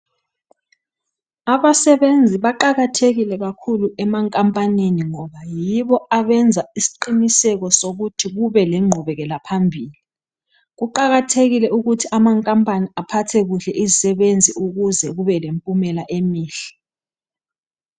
Abasebenzi baqakethekile kakhulu emankampanini ngoba yibo abenza isiqiniseko sokuthi kube lengqubekela phambili kuqakathekile ukuthi amankampani aphathe kuhle izisebenzi ukuze kube lempumela emihle